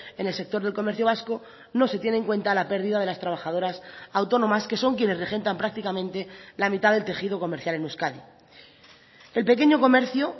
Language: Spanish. en el sector del comercio vasco no se tiene en cuenta la perdida de las trabajadoras autónomas que son quienes regentan prácticamente la mitad del tejido comercial en euskadi el pequeño comercio